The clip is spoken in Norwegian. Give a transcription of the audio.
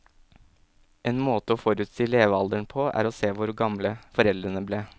En måte å forutsi levealderen på er å se hvor gamle foreldrene ble.